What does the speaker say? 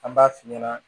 An b'a f'i ɲɛna